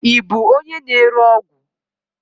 Ị bụ onye na-ere ọgwụ?